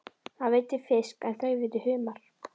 Hann veiddi fisk en þau veiddu humar.